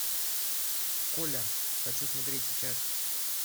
коля хочу смотреть сейчас